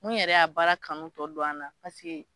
Mun yɛrɛ y'a baara kanu tɔ don an na paseke